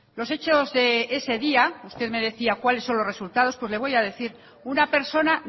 los hechos de ese día usted me decía cuáles son los resultados pues le voy a decir una persona